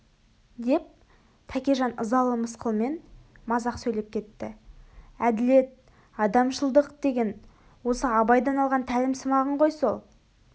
деп тәкежан ызалы мысқылмен мазақ сейлеп кетті әділет адамшылдық деген осы абайдан алған тәлімсымағың ғой сол